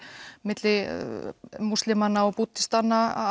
milli múslima og búddista